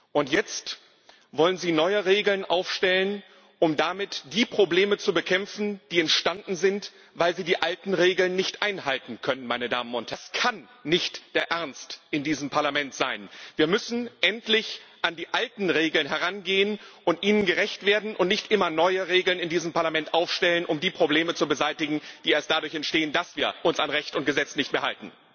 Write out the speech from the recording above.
Und jetzt wollen Sie neue Regeln aufstellen, um damit die Probleme zu bekämpfen, die entstanden sind, weil Sie die alten Regeln nicht einhalten können. Das kann nicht der Ernst in diesem Parlament sein! Wir müssen endlich an die alten Regeln herangehen und ihnen gerecht werden und nicht immer neue Regeln in diesem Parlament aufstellen, um die Probleme zu beseitigen, die erst dadurch entstehen, dass wir uns nicht mehr an Recht und Gesetz halten.